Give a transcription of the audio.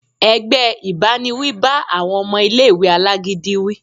ẹgbẹ ìbáníwí bá awọn ọmọ ìlé-ìwé alágídí wí.